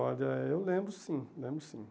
Olha, eu lembro sim, lembro sim.